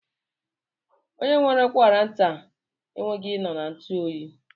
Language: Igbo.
Onye nwere ụkwara nta ekweghi I nọ na ntuoyi.